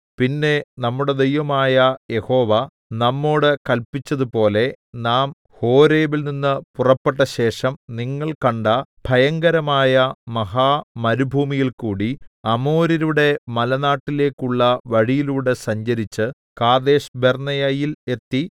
പിന്നെ നമ്മുടെ ദൈവമായ യഹോവ നമ്മോടു കല്പിച്ചതുപോലെ നാം ഹോരേബിൽനിന്ന് പുറപ്പെട്ടശേഷം നിങ്ങൾ കണ്ട ഭയങ്കരമായ മഹാമരുഭൂമിയിൽകൂടി അമോര്യരുടെ മലനാട്ടിലേക്കുള്ള വഴിയിലൂടെ സഞ്ചരിച്ച് കാദേശ്ബർന്നേയയിൽ എത്തി